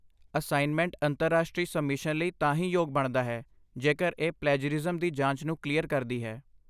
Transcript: Assignment ਅੰਤਰਰਾਸ਼ਟਰੀ submission ਲਈ ਤਾਂ ਹੀ ਯੋਗ ਬਣਦਾ ਹੈ ਜੇਕਰ ਇਹ ਪਲੈਜਰਿਜ਼ਮ ਦੀ ਜਾਂਚ ਨੂੰ ਕਲੀਅਰ ਕਰਦੀ ਹੈ।